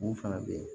Mun fana bɛ yen